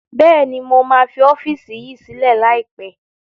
Bẹ́ẹ̀ni mo máa fi ọ́fíìsì yìí sílẹ̀ lai pẹ̀